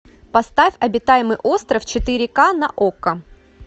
поставь обитаемый остров четыре ка на окко